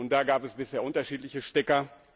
Da gab es bisher unterschiedliche Stecker.